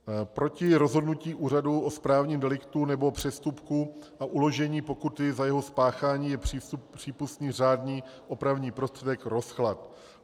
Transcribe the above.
Proti rozhodnutí úřadu o správním deliktu nebo přestupku a uložení pokuty za jeho spáchání je přípustný řádný opravný prostředek - rozklad.